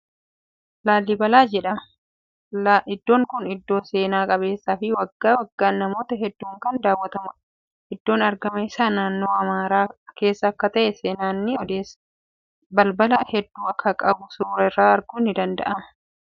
Laallibalaa jedhama. Iddoon kuni iddoo seenaa qabeessa fii waggaa waggaan namoota hedduun kan daawwatamuudha. Iddoon argama isaa naannoo Amaaraa keessa akka ta'e seenaan ni odeessa. Balbala hedduu akka qabu suuraa irraa arguun ni danda'ama.